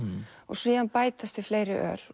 síðan bætast við fleiri ör